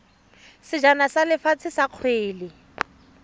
sejana sa lefatshe sa kgwele